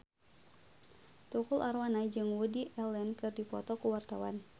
Tukul Arwana jeung Woody Allen keur dipoto ku wartawan